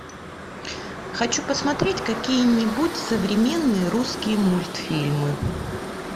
хочу посмотреть какие нибудь современные русские мультфильмы